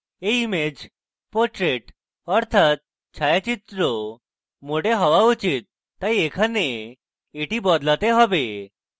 এই image portrait অর্থাত ছায়াচিত্র mode হওয়া উচিত তাই এখানে এটি বদলাতে have